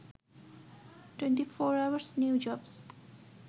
24 hours new jobs